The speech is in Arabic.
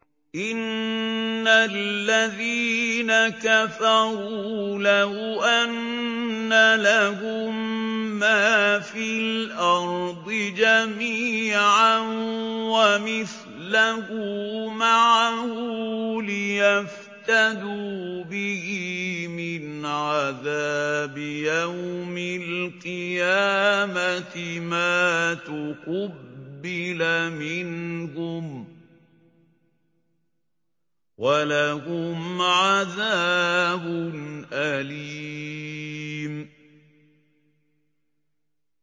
إِنَّ الَّذِينَ كَفَرُوا لَوْ أَنَّ لَهُم مَّا فِي الْأَرْضِ جَمِيعًا وَمِثْلَهُ مَعَهُ لِيَفْتَدُوا بِهِ مِنْ عَذَابِ يَوْمِ الْقِيَامَةِ مَا تُقُبِّلَ مِنْهُمْ ۖ وَلَهُمْ عَذَابٌ أَلِيمٌ